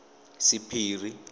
sephiri